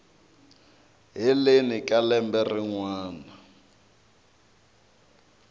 heleni ka lembe rin wana